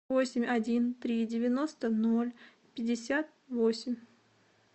восемь один три девяносто ноль пятьдесят восемь